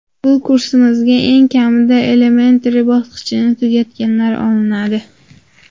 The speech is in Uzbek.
Bu kursimizga eng kamida Elementary bosqichini tugatganlar olinadi.